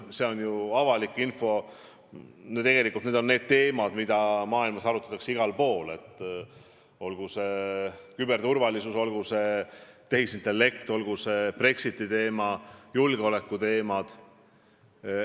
See on ju avalik info, mis on need teemad, mida maailmas igal pool arutatakse: olgu see küberturvalisus, olgu see tehisintellekt, olgu see Brexit või julgeolekuteemad.